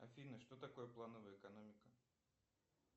афина что такое плановая экономика